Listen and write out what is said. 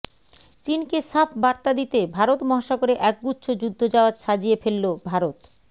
চিনকে সাফ বার্তা দিতে ভারত মহাসাগরে একগুচ্ছ যুদ্ধজাহাজ সাজিয়ে ফেলল ভারত